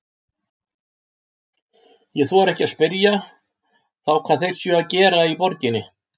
Ég þori ekki að spyrja þá hvað þeir séu að gera í borginni.